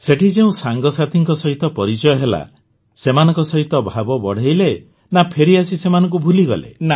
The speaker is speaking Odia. ସେଠି ଯେଉଁ ସାଙ୍ଗସାଥୀଙ୍କ ସହିତ ପରିଚୟ ହେଲା ସେମାନଙ୍କ ସହିତ ଭାବ ବଢ଼ାଇଲେ ନା ଫେରିଆସି ସେମାନଙ୍କୁ ଭୁଲିଗଲେ